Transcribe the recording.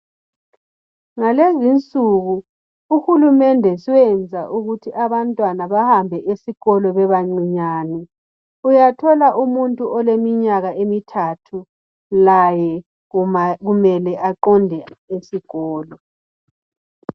Ngalezi insuku uhulumende sowenza ukuthi abantwana behambe esikolo bebancinyane. Uyathola umuntu oleminyaka emithathu laye kumele aqonde esikolo.